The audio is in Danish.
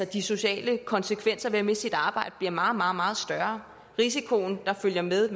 de sociale konsekvenser ved at miste et arbejde bliver meget meget større herunder risiko der følger med